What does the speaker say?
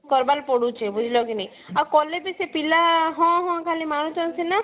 କରିବାର ପଡୁଛି ବୁଝିଲ କି ନାଇଁ ଆଉ କଲେ ବି ସେ ପିଲା ହଁ ହଁ ଖାଲି ମାରୁଛନ୍ତି ସିନା